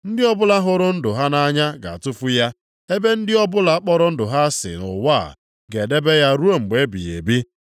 Ndị ọbụla hụrụ ndụ ha nʼanya ga-atụfu ya, ebe ndị ọbụla kpọrọ ndụ ha asị nʼụwa a, ga-edebe ya ruo mgbe ebighị ebi.